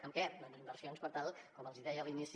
en què doncs en inversions per tal com els hi deia a l’inici